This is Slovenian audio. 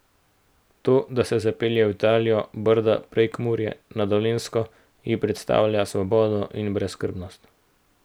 To, da se zapelje v Italijo, Brda, Prekmurje, na Dolenjsko, ji predstavlja svobodo in brezskrbnost.